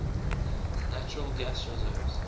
natural gas reserves